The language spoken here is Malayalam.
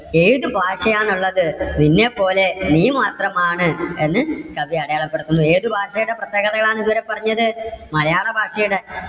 ഏത് ഭാഷയാണ് ഉള്ളത്? നിന്നെ പോലെ നീ മാത്രമാണ് എന്ന് കവി അടയാളപ്പെടുത്തുന്നു. ഏതു ഭാഷയുടെ പ്രത്യേകത ആണ് ഇവിടെ പറഞ്ഞത്? മലയാള ഭാഷയുടെ.